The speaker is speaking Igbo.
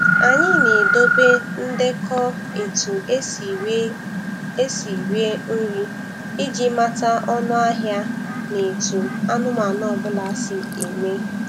Anyị na-edobe ndekọ etu esi rie esi rie nri iji mata ọnụ ahịa na etu anụmanụ ọ bụla si eme.